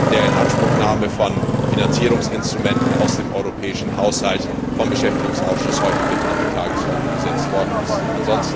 der Inanspruchnahme von Finanzierungsinstrumenten aus dem europäischen Haushalt vom Beschäftigungsausschuss heute auf die Tagesordnung gesetzt worden sind.